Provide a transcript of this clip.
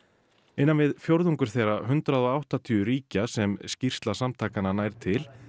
innan við fjórðungur þeirra hundrað og áttatíu ríkja sem skýrsla samtakanna nær til